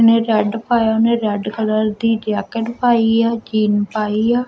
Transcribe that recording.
ਨੇ ਰੈੱਡ ਪਾਇਆ ਓਹਨੇ ਰੈੱਡ ਕਲਰ ਦੀ ਜੈਕੇਟ ਪਾਈ ਐ ਕੀਨ ਪਾਇ ਆ।